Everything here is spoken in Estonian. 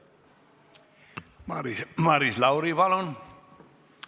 Maris Lauri, palun!